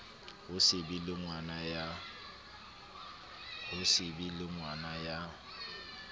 ho se be lengwana ya